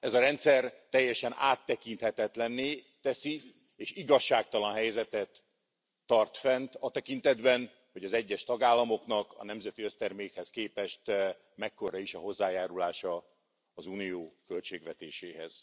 Ez a rendszer teljesen áttekinthetetlen és igazságtalan helyzetet tart fent a tekintetben, hogy az egyes tagállamoknak a nemzeti össztermékhez képest mekkora is a hozzájárulása az Unió költségvetéséhez.